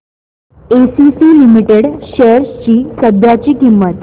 ACC limited shares ची सध्याची किंमत